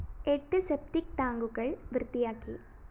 എട്ട് സെപ്റ്റിക്‌ ടാങ്കുകള്‍ വൃത്തിയാക്കി